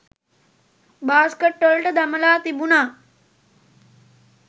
බාස්කට්වල දමලා තිබුණා.